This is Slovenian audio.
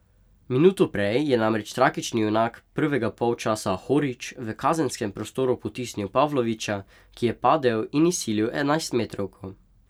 Minuto prej je namreč tragični junak prvega polčasa Horić v kazenskem prostoru potisnil Pavlovića, ki je padel in izsilil enajstmetrovko.